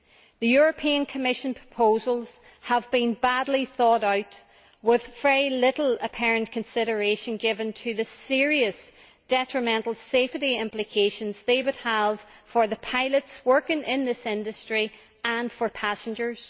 The Commission proposals have been badly thought out with very little apparent consideration given to the serious detrimental safety implications they would have for the pilots working in this industry, and for passengers.